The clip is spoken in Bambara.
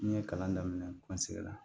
N ye kalan daminɛ n sɛgila